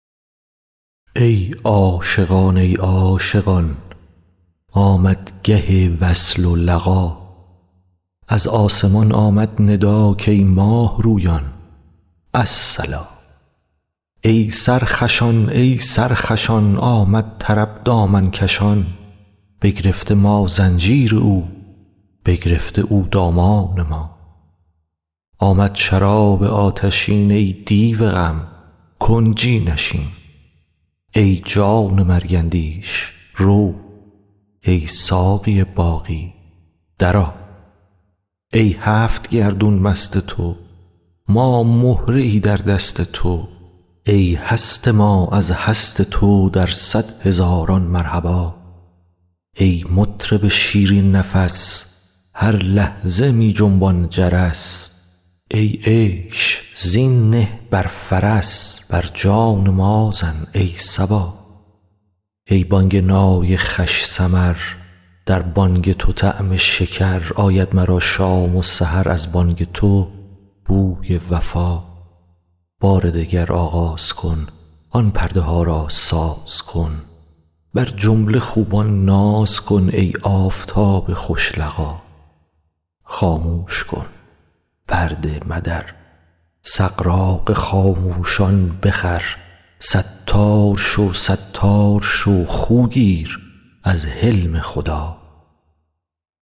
ای عاشقان ای عاشقان آمد گه وصل و لقا از آسمان آمد ندا کای ماه رویان الصلا ای سرخوشان ای سرخوشان آمد طرب دامن کشان بگرفته ما زنجیر او بگرفته او دامان ما آمد شراب آتشین ای دیو غم کنجی نشین ای جان مرگ اندیش رو ای ساقی باقی درآ ای هفت گردون مست تو ما مهره ای در دست تو ای هست ما از هست تو در صد هزاران مرحبا ای مطرب شیرین نفس هر لحظه می جنبان جرس ای عیش زین نه بر فرس بر جان ما زن ای صبا ای بانگ نای خوش سمر در بانگ تو طعم شکر آید مرا شام و سحر از بانگ تو بوی وفا بار دگر آغاز کن آن پرده ها را ساز کن بر جمله خوبان ناز کن ای آفتاب خوش لقا خاموش کن پرده مدر سغراق خاموشان بخور ستار شو ستار شو خو گیر از حلم خدا